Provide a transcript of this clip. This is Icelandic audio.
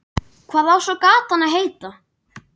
Hvað á svo gatan að heita?